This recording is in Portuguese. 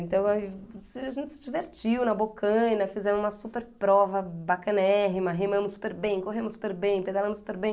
Então a, a gente se divertiu na Bocaina, fizemos uma super prova bacanérrima, rimamos super bem, corremos super bem, pedalamos super bem.